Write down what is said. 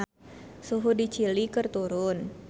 Suhu di Chili keur turun